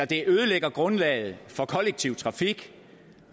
det ødelægger grundlaget for kollektiv trafik